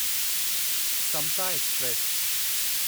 Samta express